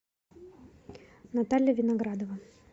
наталья виноградова